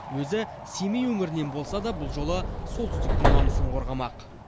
өзі семей өңірінен болса да бұл жолы солтүстіктің намысын қорғамақ